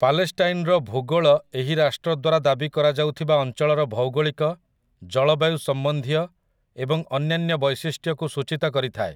ପାଲେଷ୍ଟାଇନ୍‌ର ଭୂଗୋଳ ଏହି ରାଷ୍ଟ୍ର ଦ୍ୱାରା ଦାବି କରାଯାଉଥିବା ଅଞ୍ଚଳର ଭୌଗୋଳିକ, ଜଳବାୟୁ ସମ୍ବନ୍ଧୀୟ, ଏବଂ ଅନ୍ୟାନ୍ୟ ବୈଶିଷ୍ଟ୍ୟକୁ ସୂଚୀତ କରିଥାଏ ।